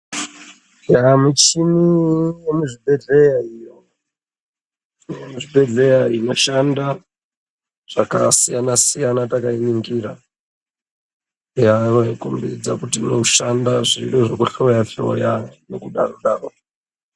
Yaa muchini yemuzvibhedhleya iyo, yemuzvibhedhleya inoshanda zvakasiyana siyana takainingira inokombidza kuti inoshanda zviro zvekuhloya hloya nekudaro daro.